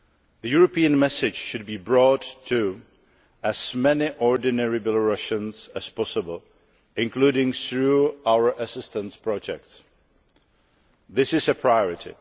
The European message should be brought to as many ordinary Belarusians as possible, including through our assistance projects. This is a priority.